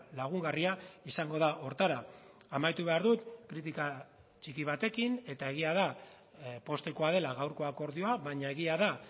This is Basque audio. lagungarria izango da horretara amaitu behar dut kritika txiki batekin eta egia da poztekoa dela gaurko akordioa baina egia da